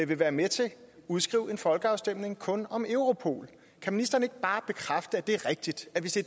vil være med til at udskrive en folkeafstemning kun om europol kan ministeren ikke bare bekræfte at det er rigtigt at hvis det